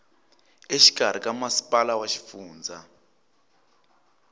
exikarhi ka masipala wa xifundza